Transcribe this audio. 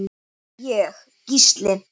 Ég: Gísli.